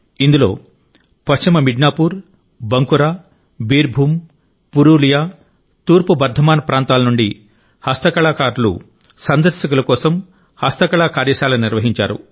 ఇందులో పశ్చిమ మిడ్నాపూర్ బాంకురా బీర్ భూం పురులియా తూర్పు బర్ధమాన్ ప్రాంతాల నుండి హస్తకళా కారులు సందర్శకుల కోసం హస్తకళ కార్య శాల నిర్వహించారు